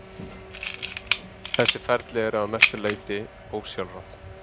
Þessi ferli eru að mestu leyti ósjálfráð.